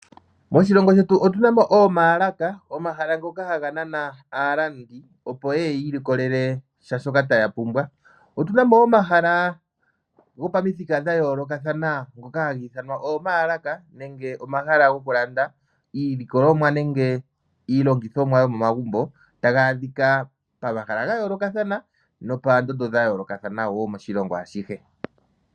Moshilongo shetu otunamo omalaka omahala ngoka hanganana alandi opo yeye yilikolele sha shoka tayapumbwa, otunamo wo omahala ngopamuthika ngayoloka thana ngoka hangithanwa omalaka nenge omahala ngokulanda iilikolomwa nenge iilongithomwa yomomagumbo tangadhika pamahala ngayoloka thana nopandondo dhayoloka thana wo moshilongo adhihe.